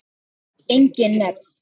Engin nöfn.